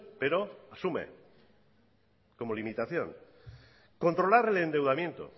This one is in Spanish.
pero asume como limitación controlar el endeudamiento